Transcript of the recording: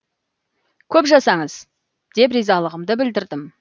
көп жасаңыз деп ризалығымды білдірдім